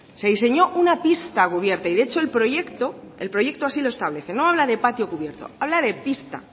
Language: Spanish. se diseñó una pista cubierta y de hecho el proyecto el proyecto así lo establece no habla de patio cubierto habla de pista